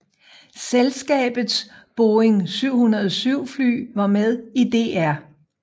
Selskabets Boeing 707 fly var med i Dr